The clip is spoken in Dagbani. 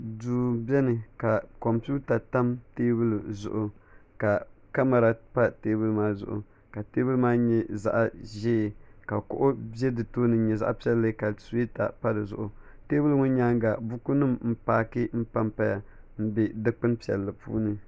duu biɛni ka kompiuta tam teebuli zuɣu ka kamɛra pa teebuli maa zuɣu ka teebuli maa nyɛ zaɣ ʒiɛ ka kuɣu ʒɛ di tooni n nyɛ zaɣ piɛlli ka suyeeta pa dizuɣu teebuli ŋɔ nyaanga buku nim n paaki dondoya n bɛ dikpuni piɛlli puuni